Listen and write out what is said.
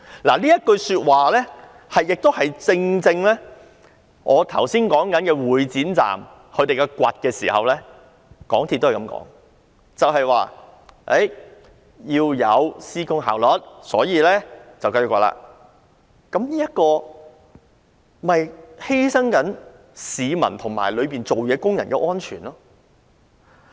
這正正便是與我剛才提及會展站繼續進行挖掘工程一事當中，港鐵公司的說法同出一轍，就是指要有施工效率，所以要繼續挖掘，但這不是犧牲了市民和在地盤工作的工人的安全嗎？